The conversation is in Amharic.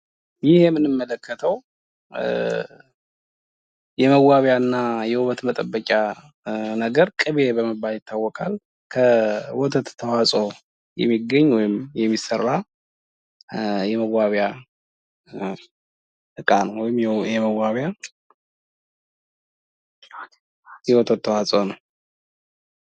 ይህ የምንመለከተው የመዋቢያና የውበት መጠበቂያ ነገር ቅቤ ይባላል። ከወተት ተዋጽኦ የሚገኝ ወይም የሚሰራ የመዋቢያ እቃ ወይም የወተት ተዋጽኦ ነው።